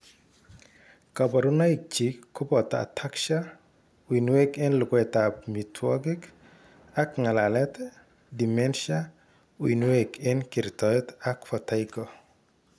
Kaborunoikchik koboto ataxia, uinwek eng' luguetab mitwogik ak ng'alalet, dementia, uinwek eng' kertoet ak vertigo